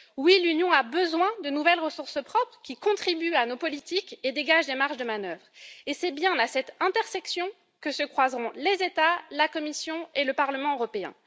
Oui, l'Union a besoin de nouvelles ressources propres qui contribuent à nos politiques et dégagent des marges de manœuvre. Et c'est bien à cette intersection que se croiseront les États, la Commission et le Parlement européen.